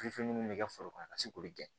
minnu bɛ kɛ foro kɔnɔ ka se k'olu gɛn